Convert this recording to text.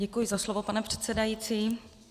Děkuji za slovo, pane předsedající.